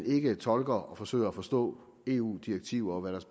ikke tolker og forsøger at forstå eu direktiver og hvad der